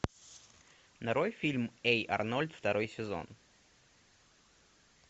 нарой фильм эй арнольд второй сезон